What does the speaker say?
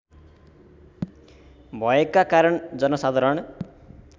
भयका कारण जनसाधारण